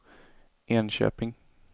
Enköping